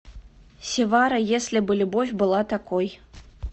севара если бы любовь была такой